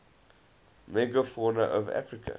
megafauna of africa